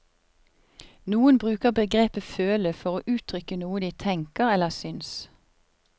Noen bruker begrepet føle for å uttrykke noe de tenker eller syns.